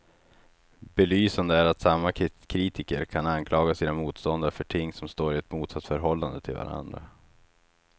Belysande är att samma kritiker kan anklaga sina motståndare för ting som står i ett motsatsförhållande till varandra.